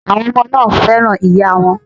Àwọn ọmọ náà fẹ́ràn ìyáa wọn.